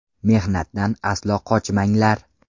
Mehnatdan aslo qochmanglar.